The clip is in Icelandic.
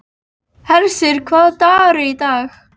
Hersir, hvaða dagur er í dag?